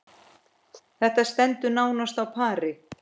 Þetta stendur nánast á pari.